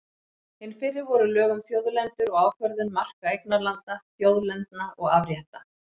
Hin fyrri voru lög um þjóðlendur og ákvörðun marka eignarlanda, þjóðlendna og afrétta.